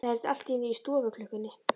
Það heyrðist allt í einu í stofuklukkunni.